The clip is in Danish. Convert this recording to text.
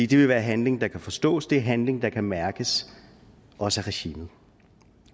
det vil være handling der kan forstås det er handling der kan mærkes også af regimet